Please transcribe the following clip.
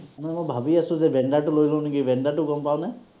এনেই মই ভাবি আছো যে টো লৈ লওঁ নেকি, টো গম পাৱনে?